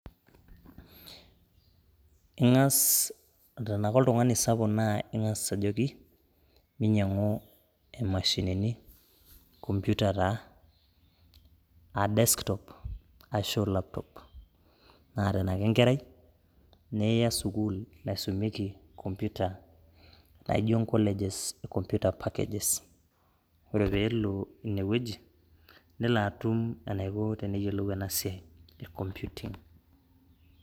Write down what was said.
Ing'as tenake oltung'ani sapuk naa ing'as ajoki minyang'u imashinini, komputa taa a desktop ashuu laptop naa tenake enkerai, niya sukuul naisumieki komputa naijo ncolleges e computer packages. Ore peelo ine wueji nelo atum enaiko pee eyolou ena siai e computing.